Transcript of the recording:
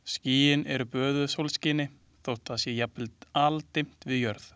Skýin eru böðuð sólskini þótt það sé jafnvel aldimmt við jörð.